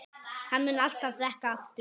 Hann mun alltaf drekka aftur.